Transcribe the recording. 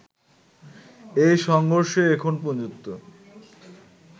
এই সংঘর্ষে এখন পর্যন্ত